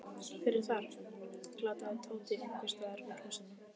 Hver er þar? galaði Tóti einhvers staðar úr húsinu.